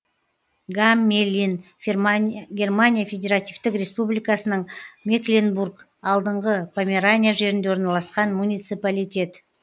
гаммелин германия федеративтік республикасының мекленбург алдыңғы померания жерінде орналасқан муниципалитет